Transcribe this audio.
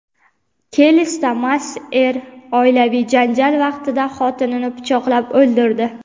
Kelesda mast er oilaviy janjal vaqtida xotinini pichoqlab o‘ldirdi.